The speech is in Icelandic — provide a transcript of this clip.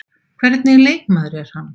Hvernig leikmaður er hann?